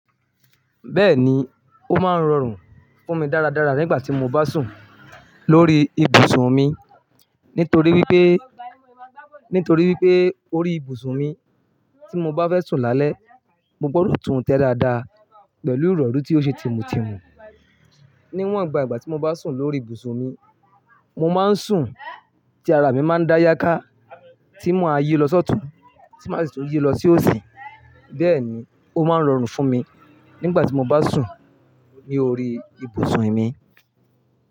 Bẹ́ẹ̀ni, ó máa ń rọrùn fún mi dáradára nígbà tí mo bá sùn lórí ibùsùn mi. Nítorí wípé, nítorí wípé orí ibùsùn mi tí mo bá fẹ́ sùn lálẹ́, mo gbọ́dọ̀ tún un tẹ dáadáa pẹ̀lú ìrọ̀rí tí ó ṣe tímù tímù. Níwọn bà ìgbà tí mo bá sùn lórí ibùsùn mi, mo máa ń sùn tí ara mi máa ń dá yáká, tí má yí lọ sọ́ọ̀tù, tí màá sì tún yí lọ sí òsì. Bẹ́ẹ̀ ni, ó máa ń rọrùn fún mi nígbà tí mo bá sùn ní orí ibùsùn mi.